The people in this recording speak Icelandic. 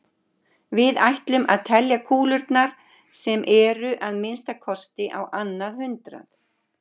Við ætlum að telja kúlurnar sem eru að minnsta kosti á annað hundrað.